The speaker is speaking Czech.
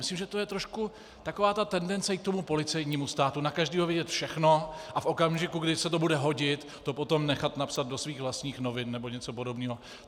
Myslím, že to je trošku taková ta tendence i k tomu policejnímu státu na každého vědět všechno a v okamžiku, kdy se to bude hodit, to potom nechat napsat do svých vlastních novin, nebo něco podobného.